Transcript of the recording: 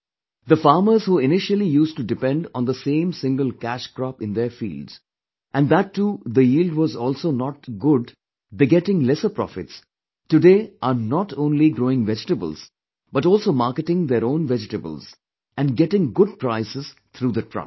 The farmers who initially used to depend on the same single cash crop in their fields and that too the yield was also not good begetting lesser profits, today are not only growing vegetables but also marketing their own vegetables and getting good prices through the trust